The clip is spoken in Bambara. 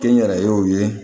Kɛnyɛrɛyew ye